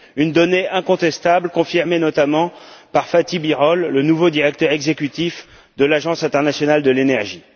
Une donnée incontestable confirmée notamment par Fatih Birol, le nouveau directeur exécutif de l'Agence internationale de l'énergie.